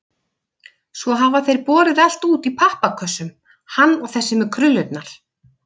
Svo hafa þeir borið allt út í pappakössum, hann og þessi með krullurnar.